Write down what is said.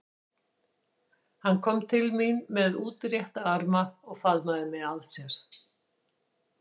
Hann kom til mín með útrétta arma og faðmaði mig að sér.